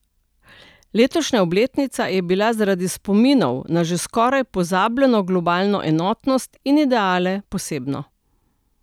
Letošnja obletnica je bila zaradi spominov na že skoraj pozabljeno globalno enotnost in ideale posebna.